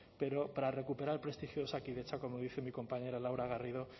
pero para recuperar el prestigio de osakidetza como dice mi compañera laura garrido